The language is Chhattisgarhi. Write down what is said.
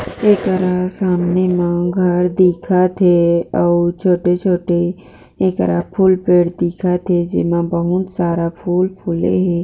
एकरा सामने मा घर दिखत थे अउ छोटे छोटे एकरा फूल पेड़ दिखत थे जे मा बहुत सारा फूल फुले हे।